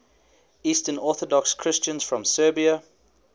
eastern orthodox christians from serbia